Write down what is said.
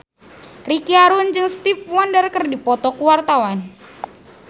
Ricky Harun jeung Stevie Wonder keur dipoto ku wartawan